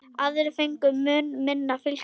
Aðrir fengu mun minna fylgi.